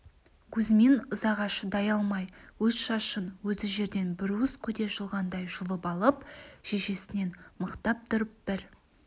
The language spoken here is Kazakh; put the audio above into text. кузьмин ызаға шыдай алмай өз шашын өзі жерден бір уыс көде жұлғандай жұлып алып шешесінен мықтап тұрып бір